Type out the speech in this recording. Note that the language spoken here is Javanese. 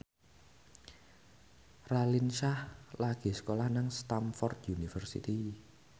Raline Shah lagi sekolah nang Stamford University